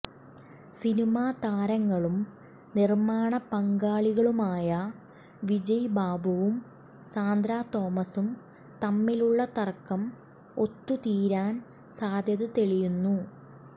cinema താരങ്ങളും നിർമാണ പങ്കാളികളുമായ വിജയ്ബാബുവും സാന്ദ്രാ തോമസും തമ്മിലുള്ള തർക്കം ഒത്തു തീരാൻ സാധ്യത തെളിയുന്നു